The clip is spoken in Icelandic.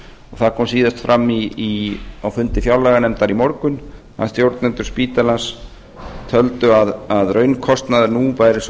það kom síðast fram á fundi fjárlaganefndar í morgun að stjórnendur spítalans töldu að raunkostnaður nú væri sá